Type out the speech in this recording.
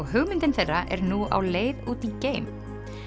hugmyndin þeirra er nú á leið út í geim